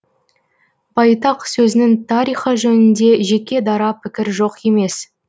байтақ сөзінің тарихы жөнінде жеке дара пікір жоқ емес